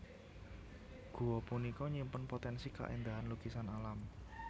Gua punika nyimpen potensi kaéndahan lukisan alam